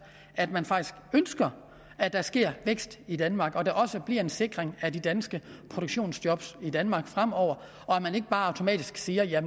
at man faktisk ønsker at der sker vækst i danmark og at der også bliver en sikring af de danske produktionsjob i danmark fremover og man ikke bare automatisk siger